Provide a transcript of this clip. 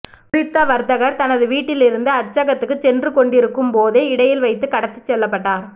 குறித்த வர்த்தகர் தனது வீட்டிலிருந்து அச்சகத்துக்குச் சென்றுகொண்டிருக்கும்போதே இடையில் வைத்துக் கடத்திச் செல்லப்பட்டார்